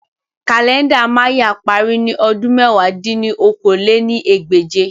Kalẹnda Maya pari ni ọdun mẹ̀wá dín ní okòó-lé-ní-ẹgbẹ́je